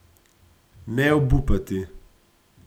Ne obupati!